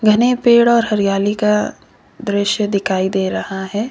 अने पेड़ और हरियाली का दृश्य दिखाई दे रहा है।